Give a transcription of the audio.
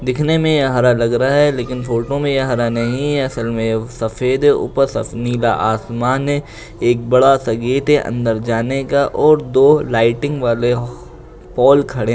दिखने में यह हरा लग रहा है लेकिन फोटो में यह हरा नहीं असल में ये सफ़ेद है | ऊपर सफ नीला आसमान है एक बड़ा सा गेट है अंदर जाने का और दो लाइटिंग वाले पोल खड़े --